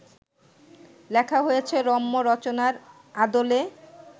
লেখা হয়েছে রম্য রচনার আদলে